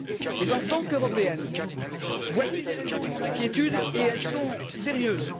Mais, en tant qu'Européenne, voici les raisons de mon inquiétude, et elles sont sérieuses.